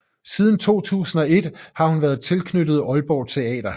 Siden 2001 har hun været tilknyttet Aalborg Teater